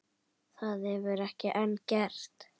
Það hefur ekki enn gerst.